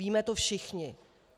Víme to všichni.